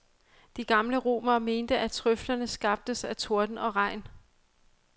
De gamle romere mente, at trøflerne skabtes af torden og regn.